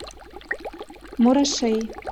мурашей